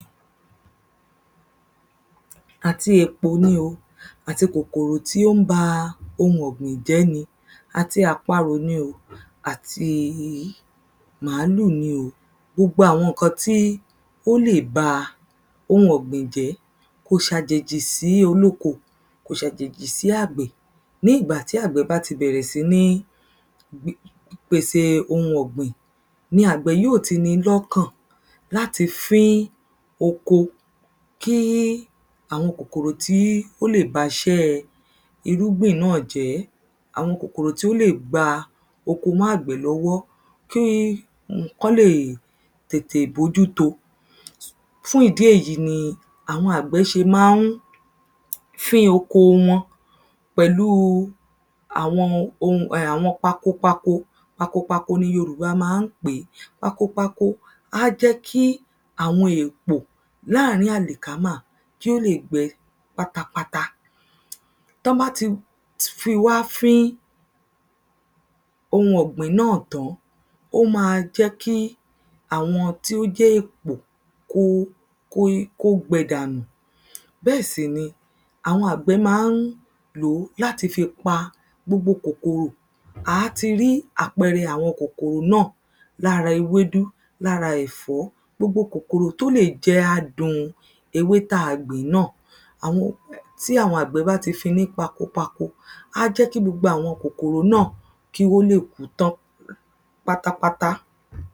Àti èpò ni o àti kòkòrò tí ó ń ba ohun ọ̀gbìn jẹ́ ni, àti àparò ni o, àti màálù ni o, Gbogbo àwọn ǹkan tí ó le ba ohun ọ̀gbìn jẹ́ kò ṣàjèjì dí olóko. Kò ṣàjèjì sí àgbẹ̀. Ní ìgbà tí àgbẹ̀ bá ti bẹ̀rẹ̀ sí ní pèse ohun ọ̀gbìn ni àgbẹ̀ yó ti ni lọ́kàn láti fín oko kí àwọn kòkòrò tí ó lè baṣẹ́ irúgbìn jẹ́, àwọn kòkòrò tí ó lè gba oko mọ́ àgbẹ̀ lọwọ́ kí kọ́n lè tètè bójú to. Fún ìdí èyí, ni àwọn àgbẹ̀ ṣe ma ń fín oko wọn pẹ̀lúu àwọn ohun um àwọn pakopako. Pakopako ni Yorùbá ma ń pè é. Pakopako á jẹ́ kí àwọn èpò láàrín àlìkámà yó lè gbẹ pátápátá. tọ́n bá ti fi wá fín ohun ọ̀gbìn náà tán, ó má a jẹ́ kí àwọn tí ó jẹ́ èpò kó gbẹ dànù. Bẹ́ẹ̀ sì ni àwọn àgbẹ̀ má ń lò ó láti fi pa gbogbo kòkòrò. À á ti rí àpẹrẹ àwọn kòkòrò náà. Lára ewédú, lára ẹ̀fọ́. Gbogbo kòkòrò tó lè jẹ adùn ewé tí a gbìn náà Àwọn tí àwọn àgbẹ̀ bá ti fín-in ní pakopako, á jẹ́ kí gbogbo àwọn kòkòrò náà kí wọn ó lè kú tán pátápátá.